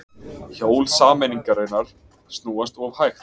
Hjól sameiningarinnar snúast of hægt